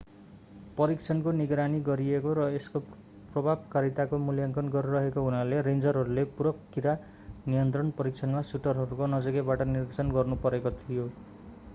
परीक्षणको निगरानी गरिएको र यसको प्रभावकारिताको मूल्याङ्कन गरिएको हुनाले रेन्जरहरूले पूरक कीरा नियन्त्रण परीक्षणमा सुटरहरूको नजिकैबाट निरीक्षण गर्नुपरेको थियो